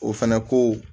O fɛnɛ ko